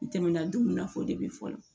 I tɛmɛna don min na o de bɛ fɔ